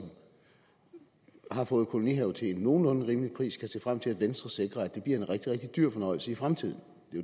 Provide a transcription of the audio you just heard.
har fået kolonihave til en nogenlunde rimelig pris kan se frem til at venstre sikrer at det bliver en rigtig rigtig dyr fornøjelse i fremtiden